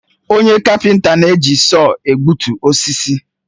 Onye kapenta na-eji sọọ egbutu osisi